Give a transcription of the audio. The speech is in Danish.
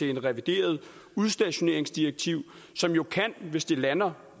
revideret udstationeringsdirektiv som jo hvis det lander